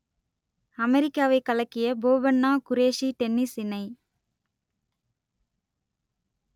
அமெரிக்காவைக் கலக்கிய போபண்ணா குரேஷி டென்னிஸ் இணை